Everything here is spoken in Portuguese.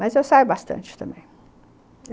Mas eu saio bastante também.